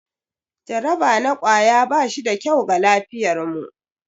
Jaraba na kwaya ba shi da kyau ga lafiyarmu.